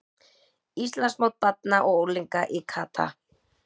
Íslandsmót barna og unglinga í kata